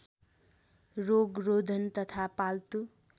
रोगरोधन तथा पाल्तु